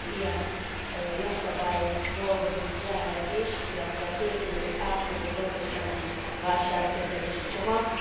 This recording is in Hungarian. Sok ilyen jogszabályon dolgozunk jelenleg is. Illetve készült egy átfogó gazdasági válságkezelési csomag.